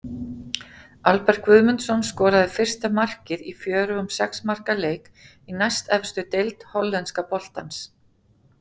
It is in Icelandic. Albert Guðmundsson skoraði fyrsta markið í fjörugum sex marka leik í næstefstu deild hollenska boltans.